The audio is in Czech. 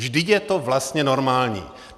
Vždyť je to vlastně normální.